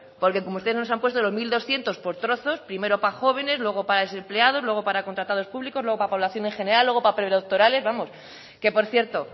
porque como usted nos han puesto los mil doscientos por trozos primero para jóvenes luego para desempleados luego para contratados públicos luego para población en general luego para predoctorales vamos que por cierto